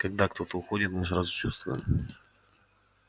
когда кто-то уходит мы сразу чувствуем